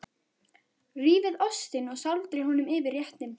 Rífið ostinn og sáldrið honum yfir réttinn.